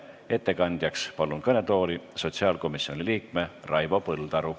Ettekandjaks palun kõnetooli sotsiaalkomisjoni liikme Raivo Põldaru.